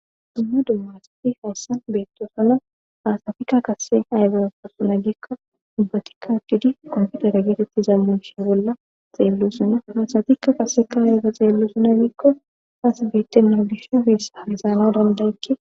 dimma dummasati hayssan beettosuna aasatikka kase aygaasuna gikka dubbatikka wuddidi komputara geetetti zammanish bolla xeellusuna hasatikka qaseka ayga xeellu suna giikko aasbeette nawulishe heessa asaanao dandayekki